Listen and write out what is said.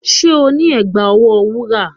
Do you have a golden bracelet?